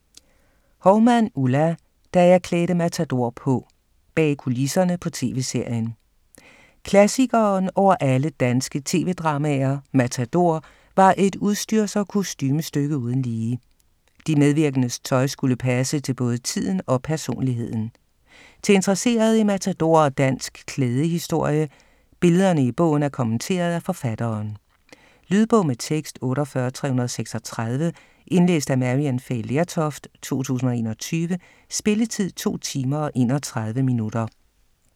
Houmann, Ulla: Da jeg klædte Matador på: bag kulisserne på TV-serien Klassikeren over alle danske tv-dramaer, Matador, var et udstyrs- og kostumestykke uden lige. De medvirkendes tøj skulle passe til både tiden og personligheden. Til interesserede i Matador og dansk klædehistorie. Billederne i bogen er kommenteret af forfatteren. Lydbog med tekst 48336 Indlæst af Maryann Fay Lertoft, 2021. Spilletid: 2 timer, 31 minutter.